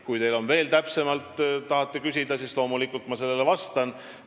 Kui te veel täpsemalt küsida tahate, siis ma loomulikult vastan.